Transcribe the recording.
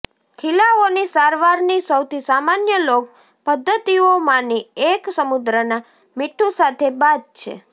ખીલાઓની સારવારની સૌથી સામાન્ય લોક પદ્ધતિઓમાંની એક સમુદ્રના મીઠું સાથે બાથ છે